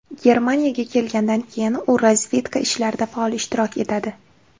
Germaniyaga kelgandan keyin u razvedka ishlarida faol ishtirok etadi.